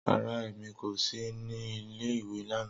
Rara, Emi ko si ni ìle-ìwe lana.